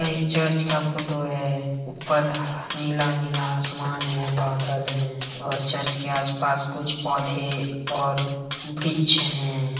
यह एक चर्च का फोटो है ऊपर ह-नीला-नीला आसमान है बादल है ओर चर्च के आस-पास कुछ पोधे और व्रिक्ष है।